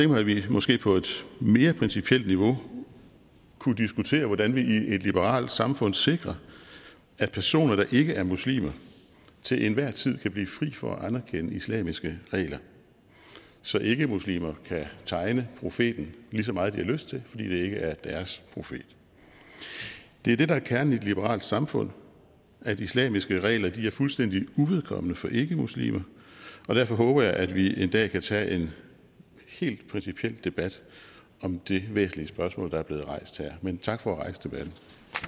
mig at vi måske på et mere principielt niveau kunne diskutere hvordan vi i et liberalt samfund sikrer at personer der ikke er muslimer til enhver tid kan blive fri for at anerkendte islamiske regler så ikkemuslimer kan tegne profeten lige så meget de har lyst til fordi det ikke er deres profet det er det der er kernen i et liberalt samfund at islamiske regler er fuldstændig uvedkommende for ikkemuslimer og derfor håber jeg at vi en dag kan tage en helt principiel debat om det væsentlige spørgsmål der er blevet rejst her men tak for at rejse debatten